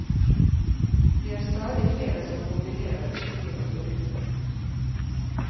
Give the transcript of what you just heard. Det er stadig flere som kombinerer fiske og turisme.